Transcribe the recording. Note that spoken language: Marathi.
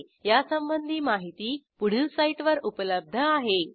ह्या ट्युटोरियलचे भाषांतर मनाली रानडे यांनी केले असून मी रंजना भांबळे आपला निरोप घेते160